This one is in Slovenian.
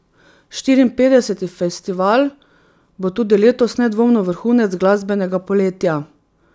Štiriinpetdeseti festival bo tudi letos nedvomno vrhunec glasbenega poletja.